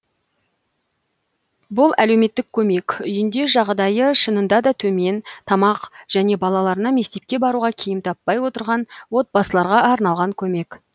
бұл әлеуметтік көмек үйінде жағдайы шынында да төмен тамақ және балаларына мектепке баруға киім таппай отырған отбасыларға арналған көмек